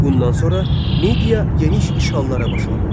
Bundan sonra Midiya geniş işğallara başladı.